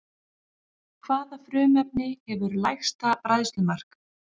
Hvaða frumefni hefur lægsta bræðslumark?